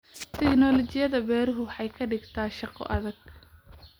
Tiknoolajiyada beeruhu waxay ka dhigtaa shaqo adag.